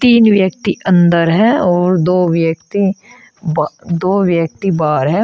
तीन व्यक्ति अंदर है और दो व्यक्ति दो व्यक्ति बाहर है।